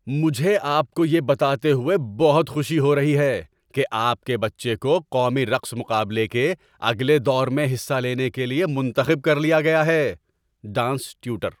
مجھے آپ کو یہ بتاتے ہوئے بہت خوشی ہو رہی ہے کہ آپ کے بچے کو قومی رقص مقابلے کے اگلے دور میں حصہ لینے کے لیے منتخب کر لیا گیا ہے۔ (ڈانس ٹیوٹر)